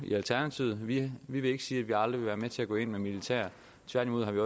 i alternativet vi vil ikke sige at vi aldrig vil være med til at gå ind med militær tværtimod har vi